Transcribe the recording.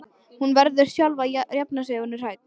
Hún verður sjálf að jafna sig ef hún er hrædd.